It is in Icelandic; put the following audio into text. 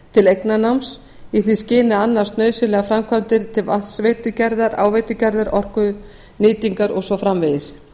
til eignarnáms í því skyni að annast nauðsynlegar framkvæmdir til vatnsveitugerðar áveitugerðar orkunýtingar og svo framvegis